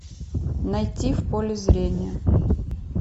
найти в поле зрения